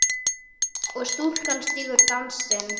og stúlkan stígur dansinn